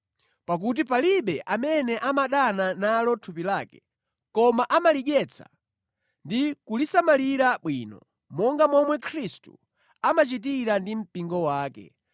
Pakuti palibe amene amadana nalo thupi lake, koma amalidyetsa ndi kulisamalira bwino, monga momwe Khristu amachitira ndi mpingo wake